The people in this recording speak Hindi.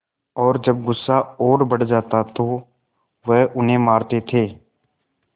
और जब गुस्सा और बढ़ जाता तो वह उन्हें मारते थे